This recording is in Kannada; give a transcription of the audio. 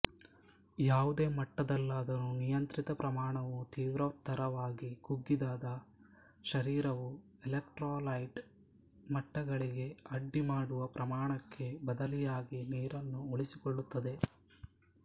ಯಾವುದೇ ಮಟ್ಟದಲ್ಲಾದರೂ ನಿಯಂತ್ರಿತ ಪ್ರಮಾಣವು ತೀವ್ರತರವಾಗಿ ಕುಗ್ಗಿದಾದ ಶರೀರವು ಇಲೆಕ್ಟ್ರೋಲೈಟ್ ಮಟ್ಟಗಳಿಗೆ ಅಡ್ಡಿ ಮಾಡುವ ಪ್ರಮಾಣಕ್ಕೆ ಬದಲಿಯಾಗಿ ನೀರನ್ನು ಉಳಿಸಿಕೊಳ್ಳುತ್ತದೆ